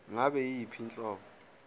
ngabe yiyiphi inhlobo